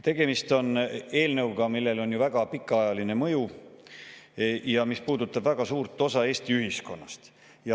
Tegemist on eelnõuga, millel on väga pikaajaline mõju ja mis puudutab väga suurt osa Eesti ühiskonnast.